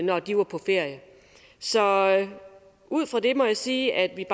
når de var på ferie så ud fra det må jeg sige at vi